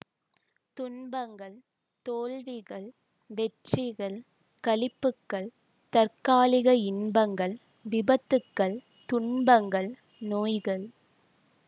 துன்பங்கள் தோல்விகள் வெற்றிகள் களிப்புக்கள் தற்காலிக இன்பங்கள் விபத்துக்கள் துன்பங்கள் நோய்கள்